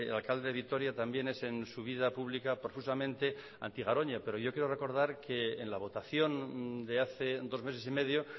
alcalde de vitoria también es en su vida pública profusamente anti garoña pero yo quiero recordar que en la votación de hace dos meses y medio